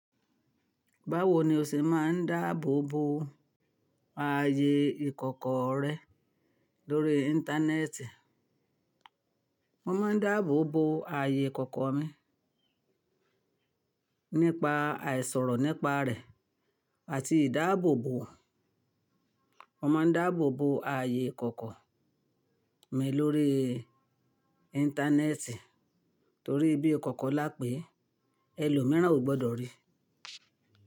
Báwo ni o ṣe máa ń dáàbò bo ààyè ìkọ̀kọ̀ rẹ lórí Íńtánẹ́ẹ̀tì? Mo má ń dáàbò bo ààyè ìkọ̀kọ̀ mi nípa àìsọ̀rọ̀ nípa rẹ̀ àti ìdáàbò bo. Mo máa ń dáàbò bo ààyè ìkọ̀kọ̀ mi lórí Íńtánẹ́ẹ̀tì torí bí ìkọ̀kọ̀ là pé ẹlòmíràn ò gbọdọ̀ rí.